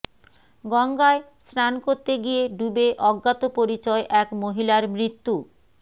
গঙ্গায় স্নান করতে গিয়ে ডুবে অজ্ঞাত পরিচয় এক মহিলার মৃত্যু